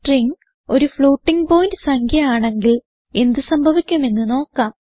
string ഒരു floating point സംഖ്യ ആണെങ്കിൽ എന്ത് സംഭവിക്കും എന്ന് നോക്കാം